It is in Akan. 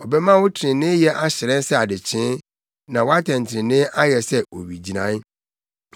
ɔbɛma wo treneeyɛ ahyerɛn sɛ adekyee, na wʼatɛntrenee ayɛ sɛ owigyinae.